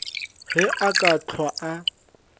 ge a ka hlwa a